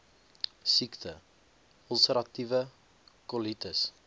siekte ulseratiewe kolitis